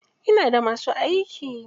Ina da masu aiki.